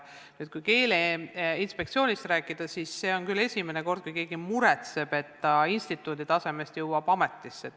Kui nüüd Keeleinspektsioonist rääkida, siis see on küll esimene kord, kui keegi muretseb, et ta instituudi tasemest jõuab ametisse.